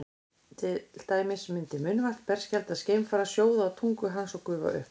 til dæmis myndi munnvatn berskjaldaðs geimfara sjóða á tungu hans og gufa upp